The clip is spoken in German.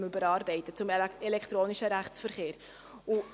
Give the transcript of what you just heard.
Das VRPG überarbeiten wir bezüglich des elektronischen Rechtsverkehrs.